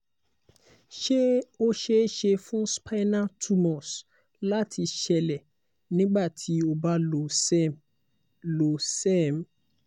se o ṣee ṣe fun spinal tumors láti ṣeélẹ̀ nígbà tí o ba lo sperm[cs lo serm